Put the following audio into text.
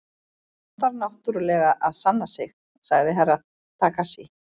Hann er siðaður á allan þann hátt sem þykir til sóma í vestrænum samfélögum.